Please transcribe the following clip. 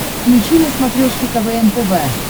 включи на смотрешке квн тв